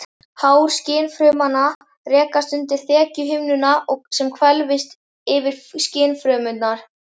Hár skynfrumanna rekast undir þekjuhimnuna sem hvelfist yfir skynfrumurnar.